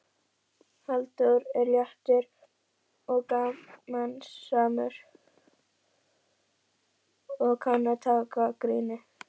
Halldór er léttur og gamansamur og kann að taka gríni.